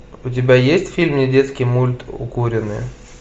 у тебя есть фильм недетский мульт укуренные